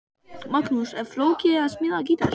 Magnús: Er flókið að smíða gítar?